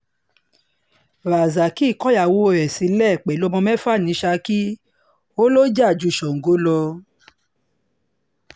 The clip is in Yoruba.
rasaki kọyàwó ẹ̀ sílẹ̀ pẹ̀lú ọmọ mẹ́fà ni saki ò lọ jà ju sango lọ